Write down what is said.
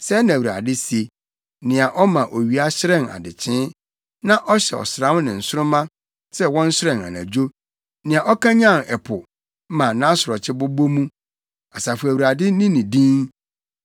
Sɛɛ na Awurade se, nea ɔma owia hyerɛn adekyee, na ɔhyɛ ɔsram ne nsoromma sɛ wɔnhyerɛn anadwo; nea ɔkanyan ɛpo ma nʼasorɔkye bobɔ mu, Asafo Awurade ne ne din.